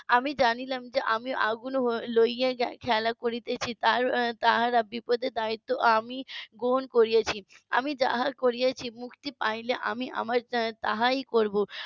আমি জানিলাম যে আমি আগুন লইয়া খেলা করিতেছি তার তাহারা বিপদের দায়িত্ব আমি গ্রহণ করেছি আমি যাহা করিয়েছি মুক্তি পাইলে আবার আমি তাহাই করবো